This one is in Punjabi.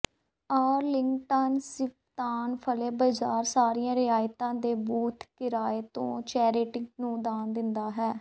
ਆਰਲਿੰਗਟਨ ਸਿਵਤਾਨ ਫਲੇ ਬਾਜ਼ਾਰ ਸਾਰੀਆਂ ਰਿਆਇਤਾਂ ਅਤੇ ਬੂਥ ਕਿਰਾਏ ਤੋਂ ਚੈਰਿਟੀ ਨੂੰ ਦਾਨ ਦਿੰਦਾ ਹੈ